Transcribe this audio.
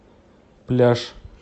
пляж